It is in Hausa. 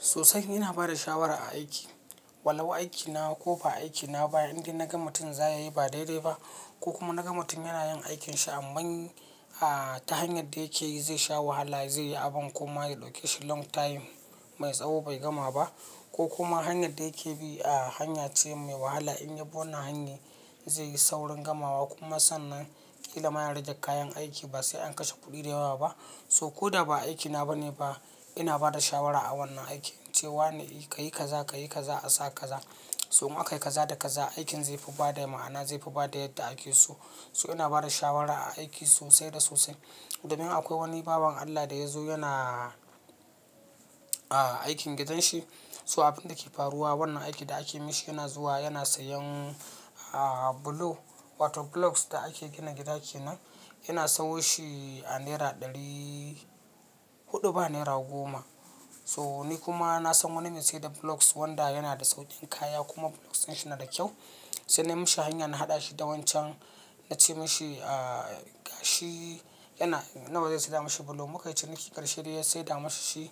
Sosai ina bada shawara a aiki. Walau aikina ko ba aikina ba indai naga mutum za ya yi ba daidai ba ko kuma naga mutum yana yin aikinsa. Amma ta hanyar da yake yi zai sha wahala, zai yi abin kuma ya ɗauke shi long time mai tsawo bai gama ba ko kuma hanyar da yake bi hanya ce mai wahala. In ya bi wannan hanyar zai yi saurin gamawa kuma sannan ƙila ma ya rage kayan aiki ba sai an kashe kuɗi da yawa ba. So ko da ba aikina ba ne ba ina bada shawara a wannan aiki cewa ne ka yi kaza, ka yi kaza a sa kaza. So in aka yi kaza da kaza, aikin zai fi bada ma'ana, zai fi bada yadda ake so. So ina bada shawara a aiki sosai da sosai. Domin akwai wani bawan Allah da ya zo yana aikin gidan shi. So abin da ke faruwa wannan aikin da aka mishi yana zuwa yana sayan block wato blocks da ake gina gida ke nan yana sayo shi a naira ɗari huɗu ba naira goma. So ni kuma na san wani me ya sayar da blocks wanda yana da sauƙin kaya kuma blocks ɗin shi na da kyau. Sai na mishi hanya na haɗa shi da wancan, na ce mashi gashi yana, na ba zai sayar da mashi block. Muka yi ciniki ƙarshe dai ya sayar da mashi shi